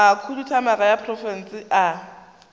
a khuduthamaga ya profense a